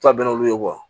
To bɛn'olu ye